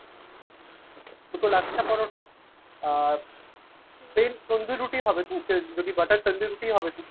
দুটো লাচ্ছা পরোটা আহ plain তন্দুরি রুটি হবে তো ? যদি butter তান্দুরি রুটি হবে তো ?